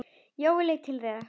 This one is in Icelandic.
Jói leit til þeirra.